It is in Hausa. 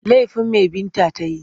Laifin me Binta ta yi?